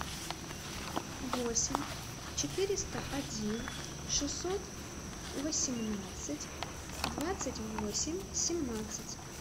восемь четыреста один шестьсот восемнадцать двадцать восемь семнадцать